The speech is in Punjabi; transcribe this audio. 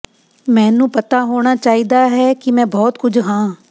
ਮੈਨੂੰ ਪਤਾ ਹੋਣਾ ਚਾਹੀਦਾ ਹੈ ਕਿ ਮੈਂ ਬਹੁਤ ਕੁਝ ਹਾਂ